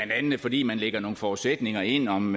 fordi man lægger nogle forudsætninger ind om